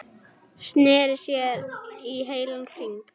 Sneri sér í heilan hring.